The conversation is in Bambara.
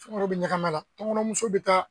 Sunkaro be ɲakami a la tɔnkɔnɔ muso be taa.